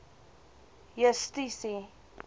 justisie